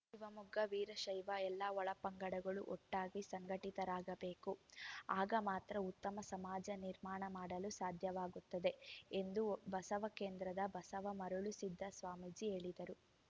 ಶಿವಮೊಗ್ಗ ವೀರಶೈವ ಎಲ್ಲ ಒಳಪಂಗಡಗಳು ಒಟ್ಟಾಗಿ ಸಂಘಟಿತರಾಗಬೇಕು ಆಗ ಮಾತ್ರ ಉತ್ತಮ ಸಮಾಜ ನಿರ್ಮಾಣ ಮಾಡಲು ಸಾಧ್ಯವಾಗುತ್ತದೆ ಎಂದು ಬಸವ ಕೇಂದ್ರದ ಬಸವ ಮರುಳಸಿದ್ದ ಸ್ವಾಮೀಜಿ ಹೇಳಿದರು